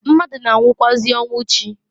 Mmadu na-anwụkwaazi ọnwụ chi.